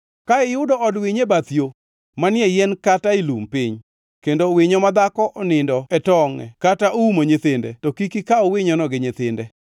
Ka iyudo od winyo e bath yo, manie yien kata e lum piny kendo winyo madhako onindo e tongʼe kata oumo nyithinde, to kik ikaw winyono gi nyithinde.